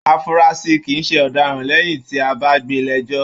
Afurasi kìí ṣe ọdaràn lẹyìn tí a bá gbé lẹjọ.